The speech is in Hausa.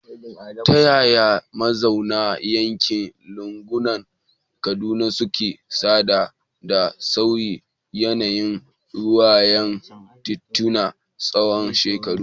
Ta yaya mazauna yankin lungunan Kaduna suka saba da sauyin yanayin rayuwar tituna tsawon shekaru?